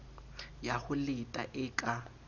ya ho leta e ka